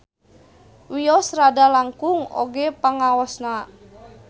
Wios rada langkung oge pangaosna.